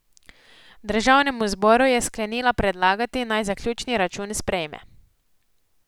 Državnemu zboru je sklenila predlagati, naj zaključni račun sprejme.